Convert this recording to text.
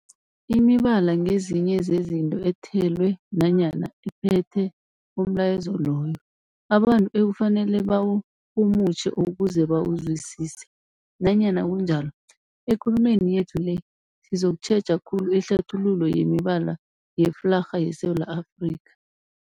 Imibala ngezinye zezinto ethelwe nanyana ephethe umlayezo loyo abantu ekufanele bawurhumutjhe ukuze bawuzwisise. Nanyana kunjalo, ekulumeni yethu le sizokutjheja khulu ihlathululo yemibala yeflarha yeSewula Afrika.